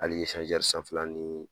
Hali sanfɛla ni